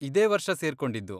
ಇದೇ ವರ್ಷ ಸೇರ್ಕೊಂಡಿದ್ದು.